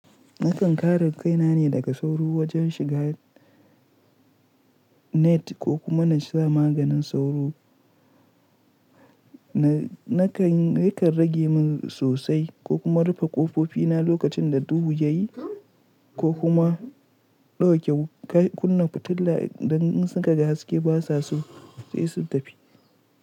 Nakan kare kaina ne daga sauro wajen shiga net ko kuma na sa maganin sauro. Nakan rage min sosai ko kuma rufe ƙofofi na lokacin da duhu ya yi ko kuma ɗauke kunna fitila, idan sukaga haske basa so sai sun tafi.